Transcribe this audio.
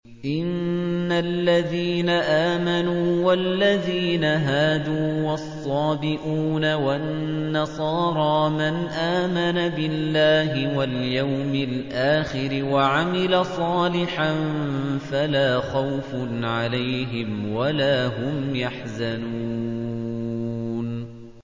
إِنَّ الَّذِينَ آمَنُوا وَالَّذِينَ هَادُوا وَالصَّابِئُونَ وَالنَّصَارَىٰ مَنْ آمَنَ بِاللَّهِ وَالْيَوْمِ الْآخِرِ وَعَمِلَ صَالِحًا فَلَا خَوْفٌ عَلَيْهِمْ وَلَا هُمْ يَحْزَنُونَ